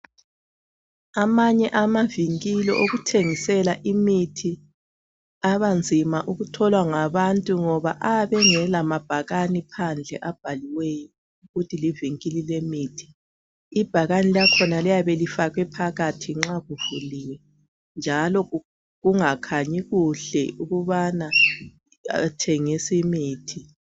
Amanye amavinkili okuthengisela imithi abanzima ukutholwa ngabantu ngoba ayabe engela mabhakani phandle abhaliweyo ukuthi livinkili lemithi. Ibhakani lakhona liyabe lifakwe phakathi nxa kuvuliwe njalo kungakhanyi kuhle ukubana bathengisa imithi.